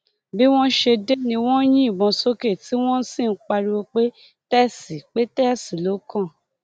bí wọn ṣe dé ni wọn ń yìnbọn sókè tí wọn sì ń pariwo pé tẹsì pé tẹsì ló kàn